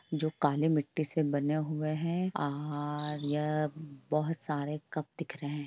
जो काले मिट्टी से बने हुए हैं और यह बहुत सारे कप दिख रहे हैं।